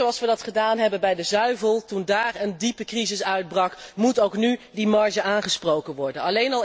Net zoals we dat gedaan hebben bij de zuivel, toen daar een diepe crisis uitbrak, moet ook nu die marge aangesproken worden.